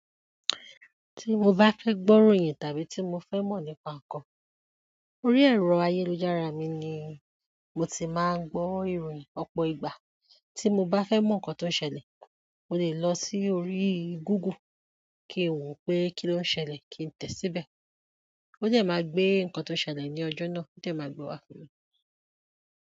Tí mo bá fẹ́ gbọ́ ìròyìn tàbí tí mo fẹ́ mọ̀ nípa nǹkan, orí ẹ̀rọ ayélujára mi ni mo ti máa ń gbọ́ ìròyìn. Ọ̀pọ̀ ìgbà tí mo bá fẹ́ mọ̀ nǹkan tó ń ṣẹlẹ̀, mo lè lọ sí orí Google, kí wo pé kí ló ń ṣẹlẹ̀, kí ń tẹ̀ síbẹ̀. Ó dẹ́ máa gbé nǹkan tó ń ṣẹlẹ̀ ní ọjọ́ náà, ó dẹ́ máa gbe wá.